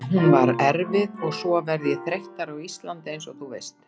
Hún var erfið og svo verð ég þreyttari á Íslandi einsog þú veist.